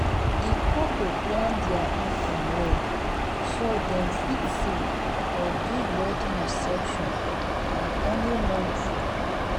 the couple plan their income well so dem fit save for big wedding reception and honeymoon trip.